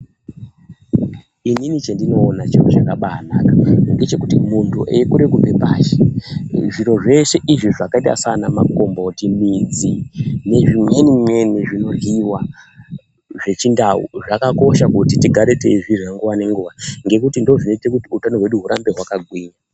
Inini chendinoona chiro chakabaanaka ngechekuti, muntu eikure kubvepashi, zviro zveshe izvi zvakaite saanamagomboti, midzi nezvimweni-mweni zvinoryiwa zvechindau, zvakakosha kuti tigare teizvirya nguwa ngenguwa, ngekuti ndizvo zvinoite kuti hutano hwedu hwurambe hwakagwinya.